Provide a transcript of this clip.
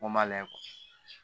Ko ma layɛ